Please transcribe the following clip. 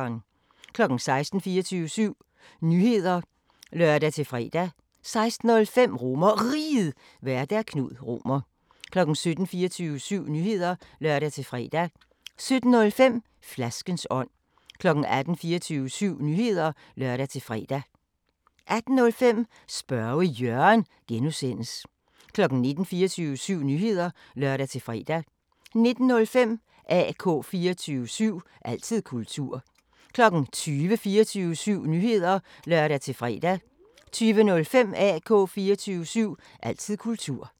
16:00: 24syv Nyheder (lør-fre) 16:05: RomerRiget, Vært: Knud Romer 17:00: 24syv Nyheder (lør-fre) 17:05: Flaskens ånd 18:00: 24syv Nyheder (lør-fre) 18:05: Spørge Jørgen (G) 19:00: 24syv Nyheder (lør-fre) 19:05: AK 24syv – altid kultur 20:00: 24syv Nyheder (lør-fre) 20:05: AK 24syv – altid kultur